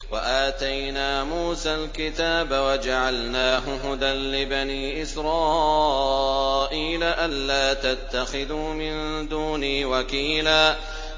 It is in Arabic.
وَآتَيْنَا مُوسَى الْكِتَابَ وَجَعَلْنَاهُ هُدًى لِّبَنِي إِسْرَائِيلَ أَلَّا تَتَّخِذُوا مِن دُونِي وَكِيلًا